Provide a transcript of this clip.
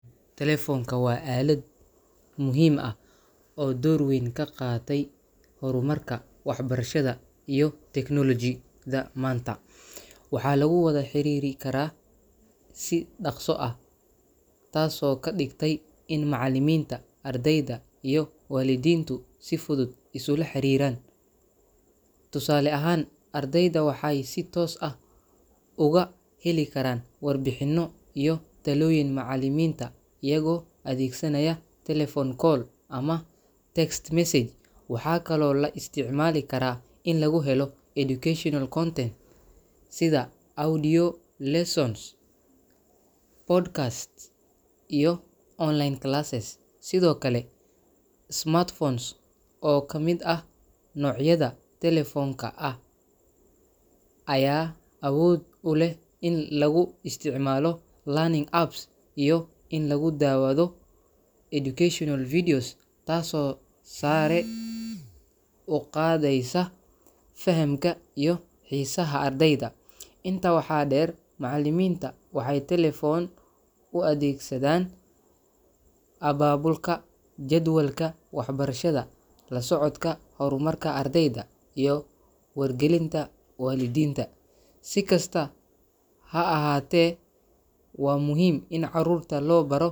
Telephone-ka waa aalad muhiim ah oo door weyn ka qaadatay horumarka waxbarashada iyo technology-da maanta. Waxaa lagu wada xiriiri karaa si dhakhso ah, taasoo ka dhigtay in macallimiinta, ardayda, iyo waalidiintu si fudud isula xariiraan. Tusaale ahaan, ardayda waxay si toos ah oga heli karaan warbixinno iyo talooyin macallimiinta iyagoo adeegsanaya telephone call ama text message. Waxaa kaloo loo isticmaali karaa in lagu helo educational content sida audio lessons, podcasts, iyo online classes. Sidoo kale, smartphones oo ka mid ah noocyada telephone-ka ah ayaa awood u leh in lagu isticmaalo learning apps iyo in lagu daawado educational videos, taasoo sare u qaadeysa fahamka iyo xiisaha ardayda. Intaa waxaa deer, macallimiinta waxay telephone u adeegsadaan abaabulka jadwalka waxbarashada, la socodka horumarka ardayda, iyo wargelinta waalidiinta. Si kastaba ha ahaatee, waa muhiim in carruurta loo baro .